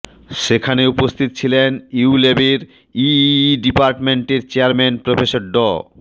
সেখানে উপস্থিত ছিলেন ইউল্যাবের ইইই ডিপার্টমেন্টের চেয়ার প্রফেসর ড